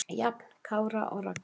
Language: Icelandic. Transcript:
Jafn Kára og Ragga.